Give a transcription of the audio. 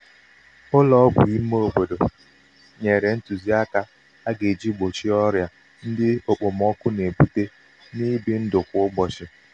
ụlọ ọgwụ ímé obodo nyere ntuziaka um aga-eji gbochie ọrịa ndị okpomọkụ na-ebute n' ibi ndụ kwa ụbọchị.